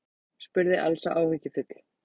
spurði Elsa áhyggjufull.